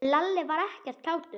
En Lalli var ekkert kátur.